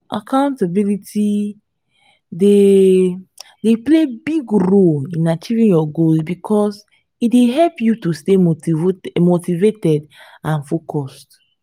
accountability dey dey play big role in achieving your goals because e dey help you to stay motivated and focused.